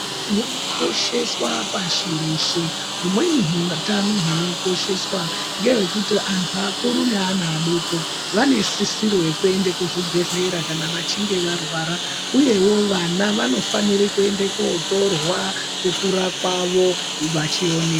...zvinokosheswa pashi reshe. Humweni hutano hunokosheswa ngehwekuti anhu akuru neana adoko vanesisiro yekuende kuzvibhehlera kana vachinge varwara. Uyewo vana vanofanire kuende kuotorwa kukura kwavo vachione...